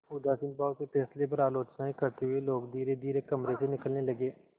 उदासीन भाव से फैसले पर आलोचनाऍं करते हुए लोग धीरेधीरे कमरे से निकलने लगे